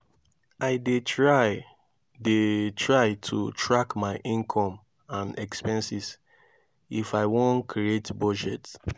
i dey try dey try to track my income and expenses if i won create budget.